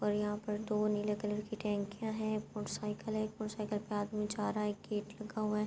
اور یہاں پر دو نیلے کلر کی ٹنکیا ہے۔ موٹر سائیکل ہے۔ ایک موٹر سائیکل پی آدمی جا رہا ہے۔ گیٹ لگا ہوا ہے۔